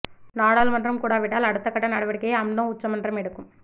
நாடாளுமன்றம் கூடாவிட்டால் அடுத்த கட்ட நடவடிக்கையை அம்னோ உச்ச மன்றம் எடுக்கும்